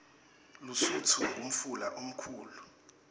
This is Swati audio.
lusutfu ngumfula lomkhulu